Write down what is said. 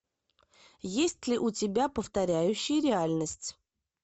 есть ли у тебя повторяющие реальность